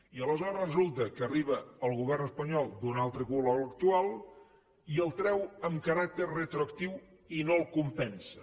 i aleshores resulta que arriba el govern espanyol d’un altre color a l’actual i el treu amb caràcter retroactiu i no el compensa